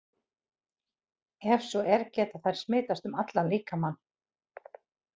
Ef svo er, geta þær smitast um allan líkamann?